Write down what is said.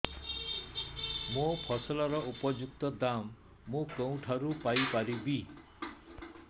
ମୋ ଫସଲର ଉପଯୁକ୍ତ ଦାମ୍ ମୁଁ କେଉଁଠାରୁ ପାଇ ପାରିବି